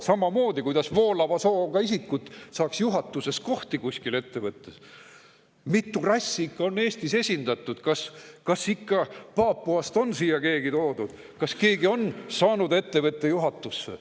Samamoodi, kuidas voolava sooga isikud saaks juhatuses kohti kuskil ettevõttes, mitu rassi on ikka Eestis esindatud, kas Papuast on siia keegi toodud, kas keegi on saanud ettevõtte juhatusse.